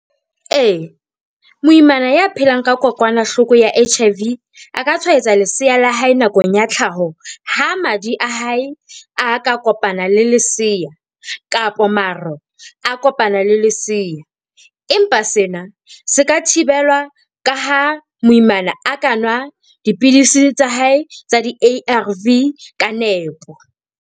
Ee, moimana ya phelang ka kokwanahloko ya H_I_V a ka tshwaetsa lesea la hae nakong ya tlhaho, ha madi a hae a ka kopana le lesea kapa maro a kopana le lesea. Empa sena se ka thibelwa ka ha moimana a ka nwa dipidisi tsa hae tsa di-A_R_V ka nepo.